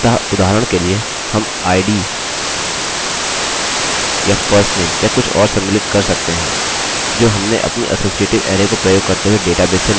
अतः उदाहरण के लिए हम id या firstname या कुछ और सम्मिलित कर सकते हैं जो हमने अपनी असोसीएटिव अरैarray को प्रयोग करते हुए डेटाबेस से निकाला था